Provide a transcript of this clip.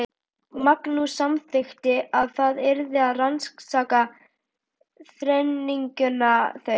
Magnús samþykkti að það yrði að rannsaka þrenninguna, þau